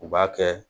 U b'a kɛ